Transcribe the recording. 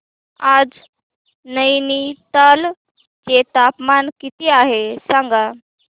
आज नैनीताल चे तापमान किती आहे सांगा